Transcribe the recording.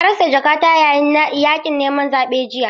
Na rasa jakata yayin yakin neman zaɓe jiya